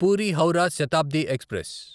puri Howrah Shatabdi express